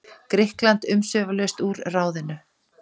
Grikkland umsvifalaust úr ráðinu.